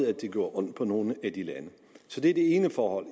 at det gjorde ondt på nogle i de lande så det ene forhold